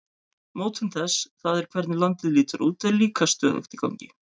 Mótun þess, það er hvernig landið lítur út, er líka stöðugt í gangi.